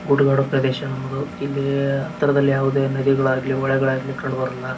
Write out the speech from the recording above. ಗುಡ್ಡ ಗಾಡು ಪ್ರದೇಶ ಇಲ್ಲಿ ಹತ್ತಿರದಲ್ಲಿ ಯಾವದೇ ನದಿ ಗಳಾಗಲಿ ಹೊಳೆ ಗಳಾಗಲಿ ಕಂಡುಬರೋಲ್ಲ.